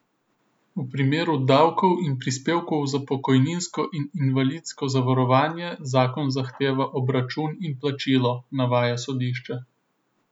V primeru davkov in prispevkov za pokojninsko in invalidsko zavarovanje zakon zahteva obračun in plačilo, navaja sodišče.